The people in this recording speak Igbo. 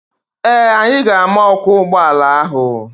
Ee, anyị ga-ama ọkwọ ụgbọala ahụ.